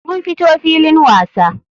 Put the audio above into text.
Mun fito filin wasa.